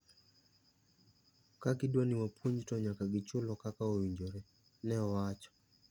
"Ka gidwani wapuonj to nyaka gichulwa kaka owinjore." Ne owacho.